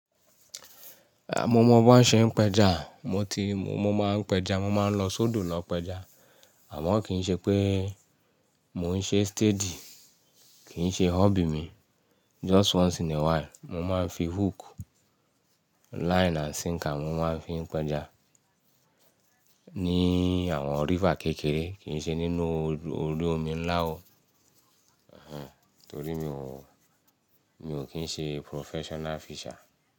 Ehn, mo mọ bí wọ́n ṣe ń pẹja, mo ti mo máa ń pẹja, mo máa ń lo sódò lọ pẹja. Àmọ́ kì í ṣe pé mo ń ṣe steady, kì í ṣe hobby mi. Just once in a while. Mo máa ń fi hook, line and sinker, mo máa ń fi péja ní àwọn river kékeré, kì í ṣe nínú orí omi ńlá o. Torí mi ò kín ń ṣe professional fisher.